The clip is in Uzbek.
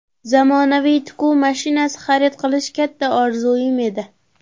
Zamonaviy tikuv mashinasi xarid qilish katta orzuim edi.